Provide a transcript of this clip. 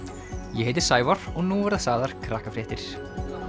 ég heiti Sævar og nú verða sagðar krakkafréttir